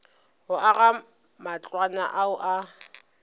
go aga matlwana ao a